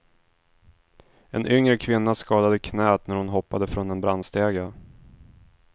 En yngre kvinna skadade knät när hon hoppade från en brandstege.